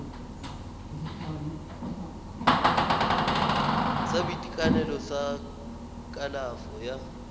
sa boitekanelo sa kalafo ya